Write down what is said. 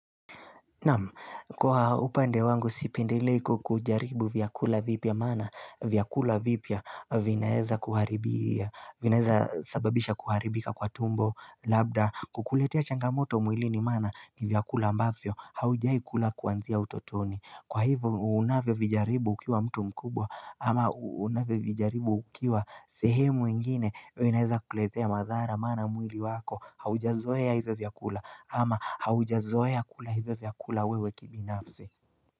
Namu kwa upande wangu sipendileko kujaribu vyakula vipya mana vyakula vipya vinaeza kuharibia vinaeza sababisha kuharibika kwa tumbo labda kukuletea changamoto umwili ni mana ni vyakula ambavyo haujai kula kuanzia utotoni Kwa hivyo unawe vijaribu ukiwa mtu mkubwa ama unawe vijaribu ukiwa sehemu ingine unaeneza kuletea mazara mana mwili wako haujazoya hivyo vyakula ama haujazoya kula hivyo vyakula wewe kibinafzi.